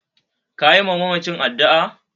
Kayi wa mamacin addu'ar?